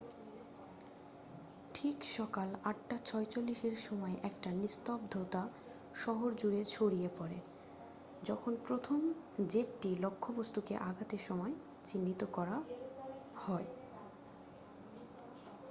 ঠিক সকাল ৮ঃ৪৬এর সময় একটা নিস্তব্ধতা শহর জুড়ে ছড়িয়ে পড়ে যখন প্রথম জেটটি লক্ষ্যবস্তুকে আঘাতের সময় চিহ্নিত করা হয়।